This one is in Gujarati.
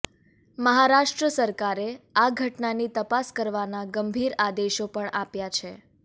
મહારાષ્ટ્ર સરકારે આ ઘટનાની તપાસ કરવાનાં ગંભીર આદેશો પણ આપ્યાં છે